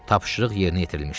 Tapşırıq yerinə yetirilmişdi.